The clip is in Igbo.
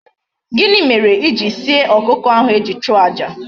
Gini mere ijiri sie okuko ahu eji chuo aja?